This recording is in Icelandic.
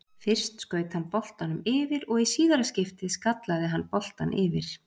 Fyrst skaut hann boltanum yfir og í síðara skiptið skallaði hann boltann yfir.